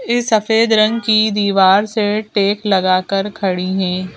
इस सफेद रंग की दीवार से टेक लगाकर खड़ी हैं।